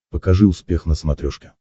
покажи успех на смотрешке